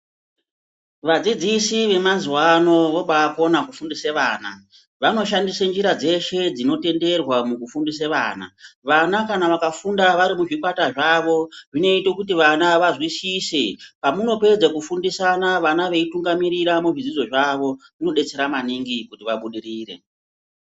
Vadzidzisi vemazuva ano vobakona kufundise vana vanoshandise njira dzeshe dzinotenderwa mukufundise vana. Vana kana vakafunda vari muzvikwata zvavo zvinoite kuti vana vazwisise. Pamunopedze kufundisana vana veitunga mirira muzvidzidzo zvavo munobetsera maningi kuti vabudirire.